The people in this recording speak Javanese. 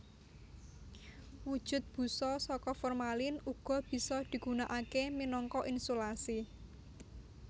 Wujud busa saka formalin uga bisa digunakaké minangka insulasi